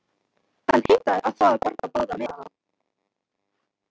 Hann heimtaði að fá að borga báða miðana.